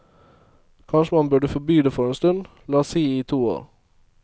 Kanskje man burde forby det for en stund, la oss si i to år.